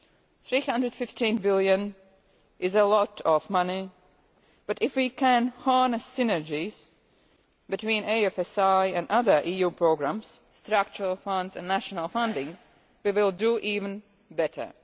EUR 315 billion is a lot of money, but if we can harness synergies between the EFSI and other EU programmes, structural funds and national funding, we will do even better.